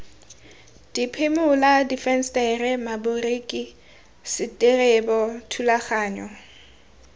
diphimola difensetere maboriki seterebo thulaganyo